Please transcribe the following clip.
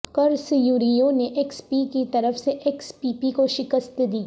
کرس یریو نے X P کی طرف سے ایکس پی پی کو شکست دی